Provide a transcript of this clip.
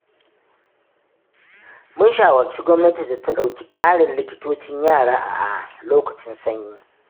mun shawarci gwamnati da ta ɗauki ƙarin likitocin yara a lokacin sanyi.